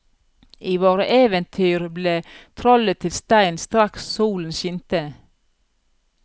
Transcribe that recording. I våre eventyr ble trollet til stein straks solen skinte.